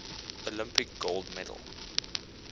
olympic gold medal